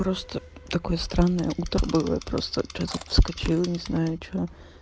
просто такое странное утро было я просто что-то вскочила не знаю что